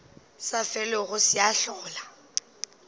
sa felego se a hlola